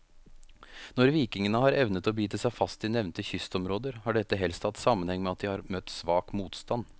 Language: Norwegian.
Når vikingene har evnet å bite seg fast i nevnte kystområder, har dette helst hatt sammenheng med at de har møtt svak motstand.